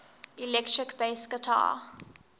electric bass guitar